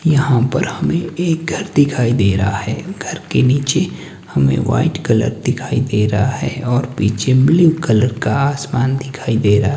यहां पर हमें एक घर दिखाई दे रहा है घर के नीचे हमें व्हाइट कलर दिखाई दे रहा है और पीछे ब्लू कलर का आसमान दिखाई दे रहा--